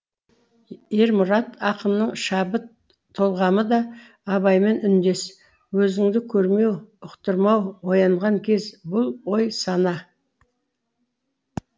ермұрат ақынның шабыт толғамы да абаймен үндес өзіңді көрмеу ұқтырмау оянған кез бұл ой сана